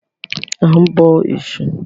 A ń bọ Ẹ̀sù.